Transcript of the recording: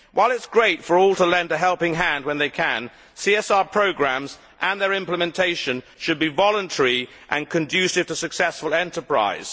While it is great for all to lend a helping hand when they can, CSR programmes and their implementation should be voluntary and conducive to successful enterprise.